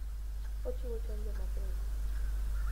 Ochiwo chanjo mapiyo.